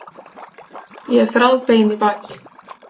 Ég er þráðbein í baki.